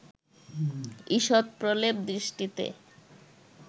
ঈষৎ প্রলেপ দৃষ্টিতে